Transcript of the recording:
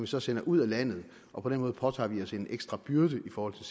så sender ud af landet og på den måde påtager vi os en ekstra byrde i forhold til